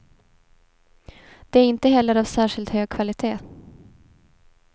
De är inte heller av särskilt hög kvalitet.